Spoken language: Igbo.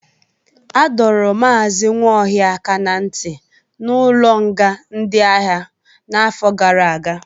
Adọro Maazị Nwaohia aka ná ntị n'ụlọnga ndị agha n'afọ gara aga.